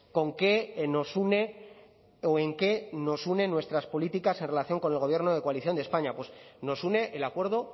con qué nos une o en qué nos unen nuestras políticas en relación con el gobierno de coalición de españa pues nos une el acuerdo